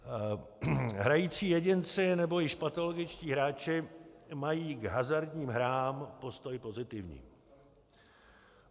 Hrající jedinci nebo již patologičtí hráči mají k hazardním hrám postoj pozitivní.